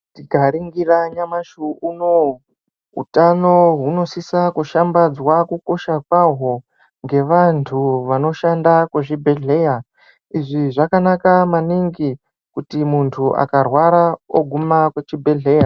Tikaringira nyamashi unowu, utano hunosisa kushambadzwa kukosha kwaho ngevantu vanoshanda kuzvibhedhleya. Izvi zvakanaka maningi kuti muntu akarwara oguma kuchibhedhleya.